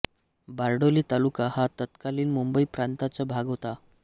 बारडोली तालुका हा तत्कालीन मुंबई प्रांताचा भाग होता